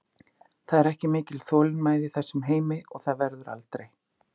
Það er ekki mikil þolinmæði í þessum heimi og það verður aldrei.